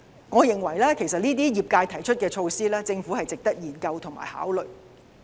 我認為業界提出的這些措施，值得政府研究和考慮。